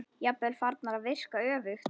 Jafnvel farnar að virka öfugt.